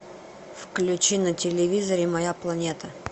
включи на телевизоре моя планета